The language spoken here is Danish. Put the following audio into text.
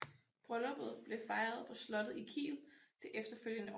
Brylluppet blev fejret på slottet i Kiel det efterfølgende år